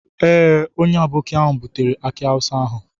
Ee, onye aboki ahụ butere aki awusa ahụ.